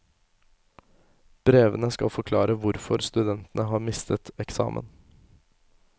Brevene skal forklare hvorfor studentene har mistet eksamen.